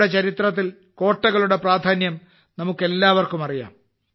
നമ്മുടെ ചരിത്രത്തിൽ കോട്ടകളുടെ പ്രാധാന്യം നമുക്കെല്ലാവർക്കും അറിയാം